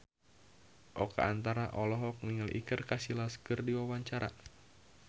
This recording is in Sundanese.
Oka Antara olohok ningali Iker Casillas keur diwawancara